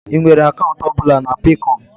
Ị nwere akaụntụ ọ bụla na Peekọm?